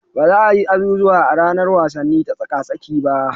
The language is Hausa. Ba za a yi azuzuwan a ranar wasanni ta tsaka-tsaki ba.